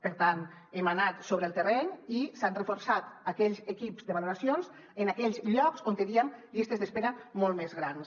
per tant hem anat sobre el terreny i s’han reforçat aquells equips de valoracions en aquells llocs on teníem llistes d’espera molt més grans